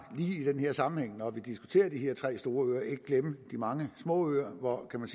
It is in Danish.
lige i den her sammenhæng når vi diskuterer de her tre store øer ikke glemme de mange små øer hvor man